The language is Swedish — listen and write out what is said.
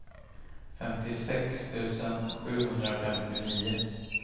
femtiosex tusen sjuhundrafemtionio